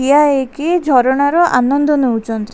ଠିଆ ହେଇକି ଝରଣାର ଆନନ୍ଦ ନଉଚନ୍‌--